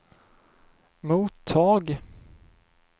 mottag